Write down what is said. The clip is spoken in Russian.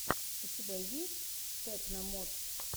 у тебя есть тэкно модс